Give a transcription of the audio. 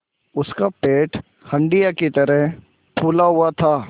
उसका पेट हंडिया की तरह फूला हुआ था